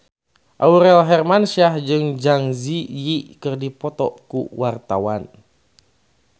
Aurel Hermansyah jeung Zang Zi Yi keur dipoto ku wartawan